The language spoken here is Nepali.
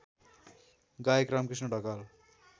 गायक रामकृष्ण ढकाल